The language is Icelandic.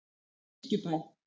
Kirkjubæ